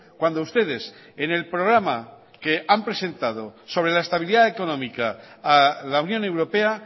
cuando ustedes en el programa que han presentado sobre la estabilidad económica a la unión europea